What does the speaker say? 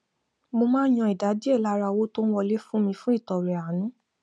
mo máa ń yan ìdá díẹ lára owó tó ń wọlé fún mi fún ìtọrẹ àánú